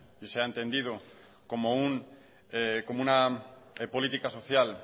y sea entendido como una política social